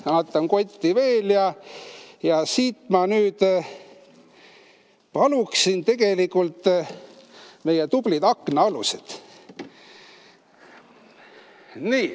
Vaatan kotti veel ja ma paluksin siia tegelikult meie tublid aknaalused.